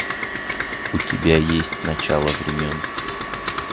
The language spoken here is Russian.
у тебя есть начало времен